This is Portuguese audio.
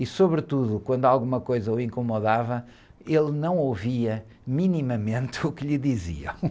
E sobretudo, quando alguma coisa o incomodava, ele não ouvia minimamente o que lhe diziam.